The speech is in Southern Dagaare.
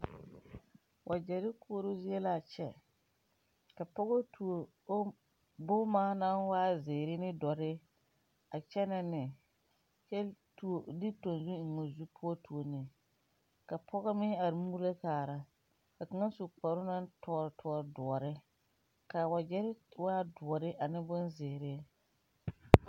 Wagyɛrre koɔrɔɔ zie laa kyɛ ka pɔgɔ tuo bomma naŋ waa zeere ne doɔre a kyɛnɛ ne kyɛ tuo de tanzuŋ eŋ oo zu poɔ tuo ne ka pɔge meŋ are muulo kaara ka kaŋa su kparoo na tõɔ tõɔ doɔre kaa wagyɛrre waa doɔre ane bonzeere.